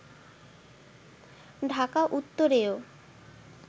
Dhaka উত্তরেও